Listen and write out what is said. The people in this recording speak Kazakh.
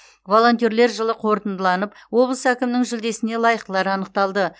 волонтерлер жылы қорытындыланып облыс әкімінің жүлдесіне лайықтылар анықталды